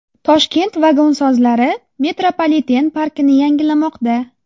Toshkent vagonsozlari metropoliten parkini yangilamoqda.